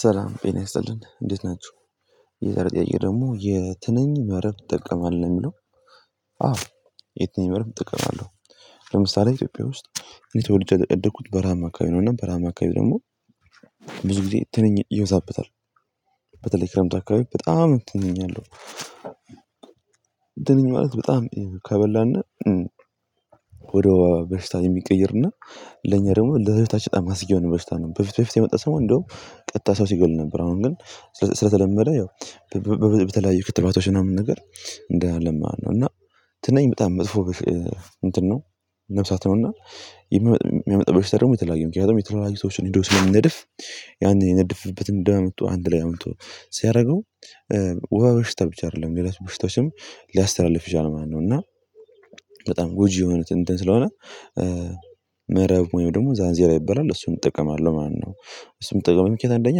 ሰላም ጤና ይስጥልኝ እንዴት ናችሁ የዛሬው ጥያቄ ደግሞ የትንኝ መረብ ትጠቀማለህ የሚለው አዎ የትንኝ መረብ እጠቀማለሁ ለምሳሌ ኢትዮጵያ ውስጥ የተወለድኩት በራሀማ አካባቢ ነው እና በራሀማ አካባቢ ደግሞ ብዙ ጊዜ ትንኝ ይበዛበታል በተለይ ክረምት አካባቢ በጣም ትንኝ አለው እንትን ማለት በጣም ከበላና ወደ በሽታ የሚቀይርና ለኛ ደግሞ ለበሽታ የማስታ የሆነ በሽታ ነው በፊት በፊት የመጣ ሰው እንደውም ቀጥታ ሰው ሲገል ነበር አሁን ግን ስለተለመደ ያው በተለያዩ ክትባቶች ምናምን ነገር እንደ አለማ ነው እና ትንኝ በጣም መጥፎ እንትን ነው ነፍሳት ነው እና የሚያመጣው በሽታ የተለያየ ነው ምክንያት የተለያዩ ሰዎችን ሄዶ ስለሚነድፍ ያንን የነደፈበትን እንደማምጡ አንድ ላይ አምጥቶ ሲያደርገው ወባ በሽታ ብቻ አይደለም ሌላ በሽታዎችም ሊያስተላልፍ ይችላል ማለት ነው እና በጣም ጐጂ የሆኑት እንትን ስለሆነ ምዕራብ ወይም ደግሞ ዛንዜራ ይበላል እሱም እጠቀማለሁ ማነው እሱም እጠቀማለሁ ምክንያት አንደኛ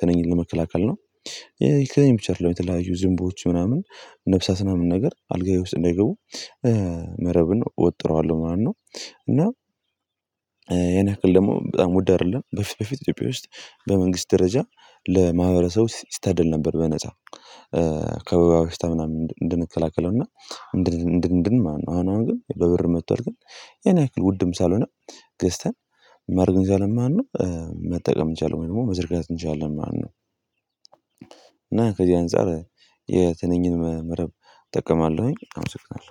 ተንኝን ለመከላከል ነው የተነኝ ፒቸር ለመተላለፊያ ዝንቦዎች ምናምን ነፍሳስ ምናምን ነገር አልጋዬ ውስጥ እንዳይገቡ መረብን እወጥረዋለሁ ምናምን ነው እና ያን ክል ደግሞ በጣም ውድ አይደለም በፊት በፊት ኢትዮጵያ ውስጥ በመንግስት ደረጃ ለማህበረሰቡ ይስተድል ነበር በነፃ ከወባ በሽታ ምናምን እንድንከላከለው እና እንድን እንድን ማነው አሁን ግን በብር መጥቶል ግን የኔ ያክል ውድም ሳልሆነ ገዝተን መርገን እንጃለን ማነው መጠቀም እንችላለን ወይ ደግሞ መዘርጋት እንችላለን ማለት ነው። እና ከዚህ አንፃር የትንኝን መ መረብ እጠቀማለሁኝ አምስቅናለሁ።